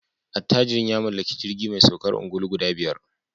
Attajirin ya mallaki jirgi mai saukar ungulu guda biyar